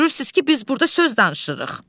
Görürsüz ki, biz burda söz danışırıq.